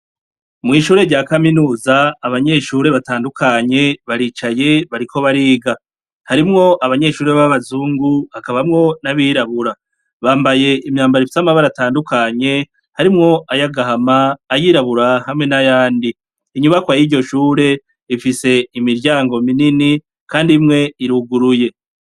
Mwishure rya Kaminuza abanyeshure batandukanye baricaye bariko bariga. Harimwo abanyeshure babazungu, hakabamwo nabirabura .Bambaye imyambaro ifise amabara atandukanye ,harimwo ayagahama ,ayirabura ,hamwe nayandi Inyubakwa yiryoshure ifise imiryango minini kandi imwe iruguruye.